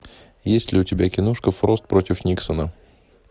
есть ли у тебя киношка фрост против никсона